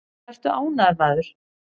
Vertu ánægður, maður!